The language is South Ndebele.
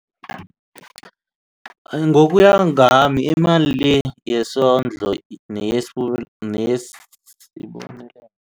Ngokuya ngami imali le yesondlo